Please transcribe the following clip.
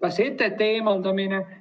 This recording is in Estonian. ka setete eemaldamine.